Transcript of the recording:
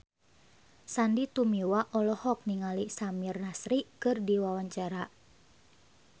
Sandy Tumiwa olohok ningali Samir Nasri keur diwawancara